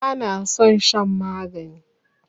Bana san shan magani